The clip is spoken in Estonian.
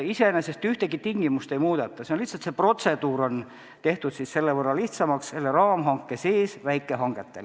Iseenesest ühtegi tingimust ei muudeta, lihtsalt see protseduur on raamhanke sees olevatele väikehangetele lihtsamaks tehtud.